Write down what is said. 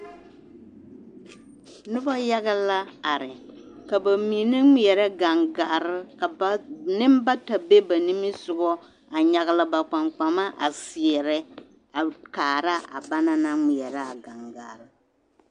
Noba yaga la are ka bamine ŋmeɛrɛ gaŋgare, nembata be ba nimisogɔ a nyagele ba kpaŋkpama a seɛrɛ a kaara a banaŋ naŋ ŋmeɛrɛ a gaŋgare.